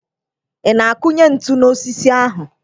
Ị na-akunye ntu n'osisi ahụ?